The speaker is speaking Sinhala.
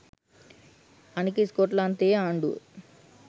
අනික ස්කොට්ලන්තයේ ආණ්ඩුව